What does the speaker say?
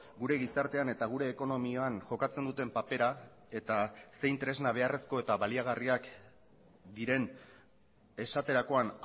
gure gizartean eta gure ekonomian jokatzen duten papera eta zein tresna beharrezko eta baliagarriak diren esaterakoan